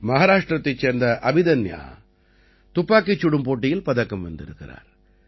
மஹாராஷ்டிரத்தைச் சேர்ந்த அபிதன்யா துப்பாக்கிச் சுடும் போட்டியில் பதக்கம் வென்றிருக்கிறார்